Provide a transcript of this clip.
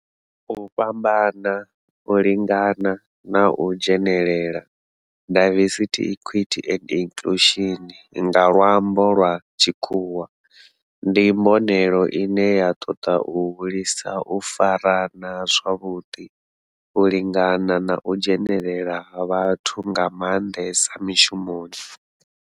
U fhambana, u lingana na u dzhenelela, diversity, equity and inclusion nga lwambo lwa tshikhuwa, ndi mbonelelo ine ya toda u hulisa u farana zwavhudi, u lingana na u dzhenelela ha vhathu nga mandesa mishumoni.